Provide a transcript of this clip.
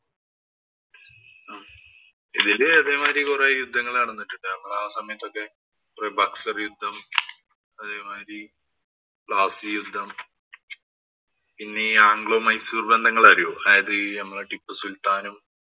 ഇതില് ഇതേമാതിരി കുറെ യുദ്ധങ്ങള്‍ നടന്നിട്ടുണ്ട്. നമ്മടെ ആ സമയത്തൊക്കെ കൊറേ ബക്സര്‍ യുദ്ധം, അതെ മാതിരി പ്ലാസി യുദ്ധം പിന്നെ ഈ ആംഗ്ലോ-മൈസൂര്‍ ബന്ധങ്ങള്‍ അറിയോ. അത് നമ്മുടെ ഈ ടിപ്പു സുല്‍ത്താനും,